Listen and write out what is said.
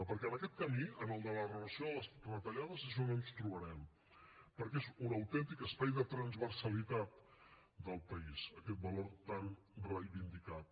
perquè en aquest camí en el de la reversió de les retallades és on ens trobarem perquè és un autèntic espai de transversalitat del país aquest valor tan reivindicat